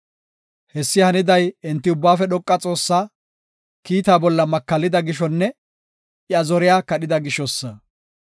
Hessi haniday enti Ubbaafe Dhoqa Xoossaa, kiita bolla makallida gishonne iya zoriya kadhida gishosa.